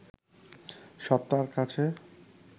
সত্তার কাছে